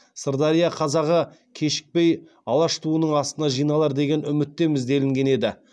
сырдария қазағы кешікпей алаш туының астына жиналар деген үміттеміз делінген еді